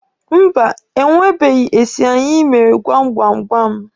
Mba, e nwebeghi esi anyị mere gwam gwam gwam.